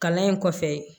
Kalan in kɔfɛ